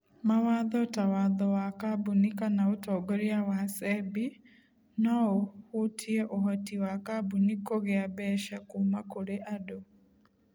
Mawatho ta watho wa kambuni kana ũtongoria wa SEBI no ũhutie ũhoti wa kambuni kũgĩa mbeca kuuma kũrĩ andũ.